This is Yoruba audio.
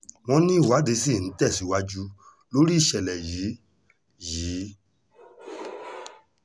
wọ́n ní ìwádìí ṣì ń tẹ̀síwájú lórí ìṣẹ̀lẹ̀ yìí yìí